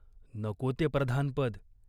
नको ते प्रधानपद.